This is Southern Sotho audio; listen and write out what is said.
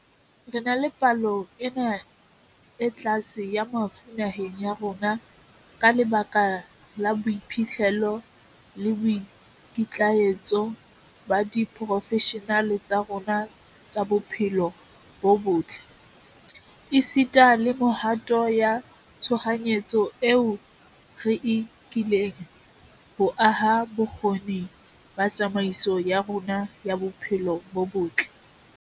Re na le palo ena e tlase ya mafu naheng ya rona ka lebaka la boiphihlelo le boikitlaetso ba diporofeshenale tsa rona tsa bophelo bo botle, esita le mehato ya tshohanyetso eo re e nkileng ho aha bokgoni ba tsamaiso ya rona ya bophelo bo botle.